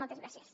moltes gràcies